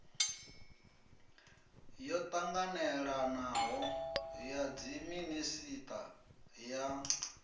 yo ṱanganelanaho ya dziminisiṱa ya